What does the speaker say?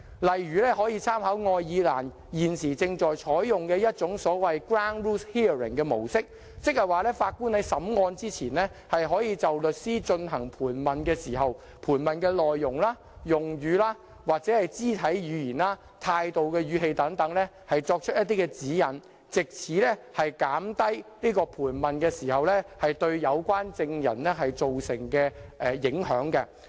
例如可參考愛爾蘭現正採用的所謂 ground rules hearing 的模式，即是說法官在審訊之前，可就律師進行盤問時的盤問內容、用語、肢體語言、態度和語氣等提出一些指引，藉此減低盤問對有關證人造成的影響。